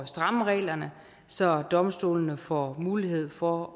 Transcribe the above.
stramme reglerne så domstolene får mulighed for